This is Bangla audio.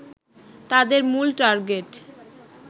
তাদের মূল টার্গেট